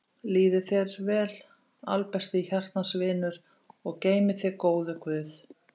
Líði þér vel albesti hjartans vinur og geymi þig góður guð.